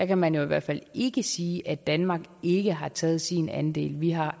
kan man i hvert fald ikke sige at danmark ikke har taget sin andel vi har